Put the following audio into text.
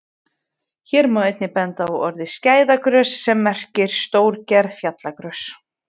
Hér má einnig benda á orðið skæðagrös sem merkir stórgerð fjallagrös.